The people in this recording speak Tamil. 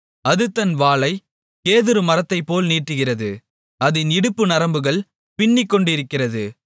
அது தன் வாலைக் கேதுரு மரத்தைப்போல் நீட்டுகிறது அதின் இடுப்பு நரம்புகள் பின்னிக்கொண்டிருக்கிறது